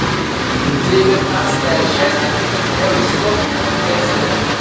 девятнадцатая часть первый сезон декстер